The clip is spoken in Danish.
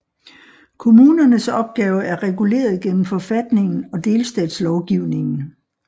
Kommunernes opgave er reguleret gennem forfatningen og delstatslovgivningen